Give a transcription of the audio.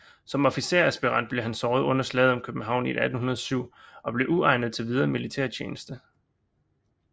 Som officersaspirant blev han såret under Slaget om København i 1807 og blev uegnet til videre militærtjeneste